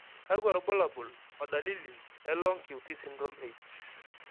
kakwa irbulabol o dalili e Long QT syndrome 8?